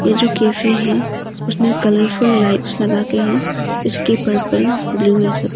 ये जो कैफे है उसमें कलरफुल लाइट्स लगा के है उसके पर्पल ब्लू ये सब--